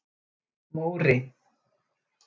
Móri